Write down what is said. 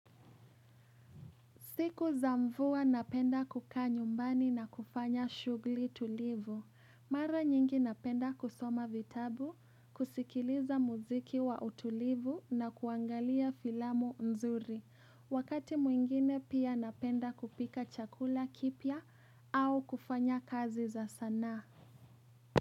Siku za mvua napenda kukaa nyumbani na kufanya shughli tulivu. Mara nyingi napenda kusoma vitabu, kusikiliza muziki wa utulivu na kuangalia filamu nzuri. Wakati mwingine pia napenda kupika chakula kipya au kufanya kazi za sanaa.